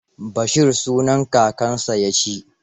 Bashir sunan kakansa ya ci.